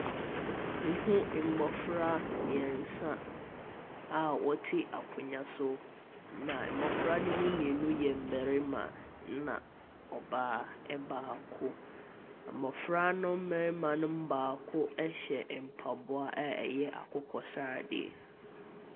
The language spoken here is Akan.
Me hu mmɔfra mmeɛnsa a wɔte akonwa so. Na mmɔfra no mu mmienu yɛ mmɛrima na ɔbaa baako mmɔfra no mmɛrima baako ɛhyɛ mpaboa a ɛyɛ akokɔ sradeɛ.